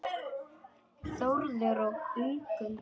Þórður og Ingunn.